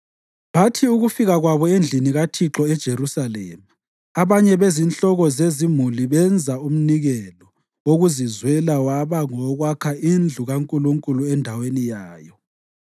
Bathi ukufika kwabo endlini kaThixo eJerusalema abanye bezinhloko zezimuli benza umnikelo wokuzizwela waba ngowokwakha indlu kaNkulunkulu endaweni yayo.